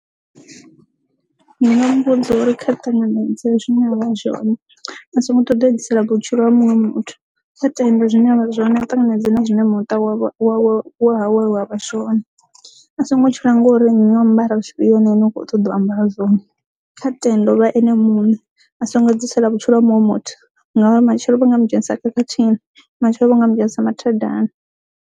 Ndi nga muvhudza uri kha ṱanganedza zwine avha zwone a songo ṱoḓa edzisela vhutshilo ha muṅwe muthu kha tende zwine avha tanganedzi na zwine muṱa wa ha wa vhashu a songo tshila ngori nyambaro tshifhio hone ane u kho ṱoḓa u amba zwone kha tenda u vha ene muṋe a songo dzi tsela vhutshilo ha muṅwe muthu ngauri matshelo vho mu dzhenisa khakhathini matshelo vho mu dzhenisa mathadani.